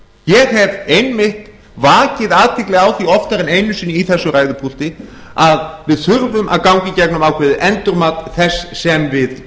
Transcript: ég hef einmitt vakið athygli á því oftar en einu sinni í þessu ræðupúlti að við þurfum að ganga í gegnum ákveðið endurmat þess sem við